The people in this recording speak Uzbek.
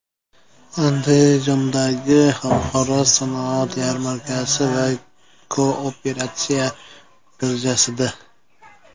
Andijondagi Xalqaro sanoat yarmarkasi va Kooperatsiya birjasida.